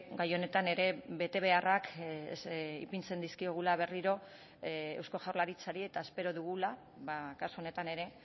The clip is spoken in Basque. gai honetan ere betebeharrak ipintzen dizkiogula berriro eusko jaurlaritzari eta espero dugula kasu honetan ere